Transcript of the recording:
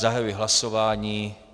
Zahajuji hlasování.